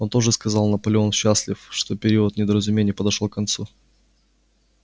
он тоже сказал наполеон счастлив что период недоразумений подошёл к концу